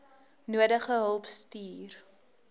nodige hulp stuur